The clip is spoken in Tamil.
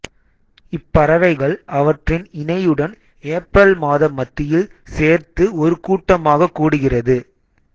இப்பறவைகள் அவற்றின் இணையுடன் ஏப்ரல் மாத மத்தியில் சேர்த்து ஒருகூட்டமாக கூடுகிறது